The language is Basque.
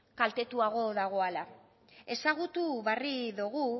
kaltetuago dagoala ezagutu barri dogu